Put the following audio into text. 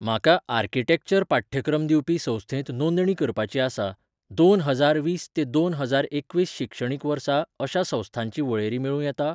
म्हाका आर्किटेक्चर पाठ्यक्रम दिवपी संस्थेंत नोंदणी करपाची आसा, दोन हजार वीस ते दोन हजार एकवीस शिक्षणीक वर्सा अशा संस्थांची वळेरी मेळूं येता?